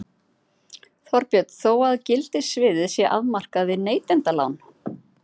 Þorbjörn: Þó að gildissviðið sé afmarkað við neytendalán?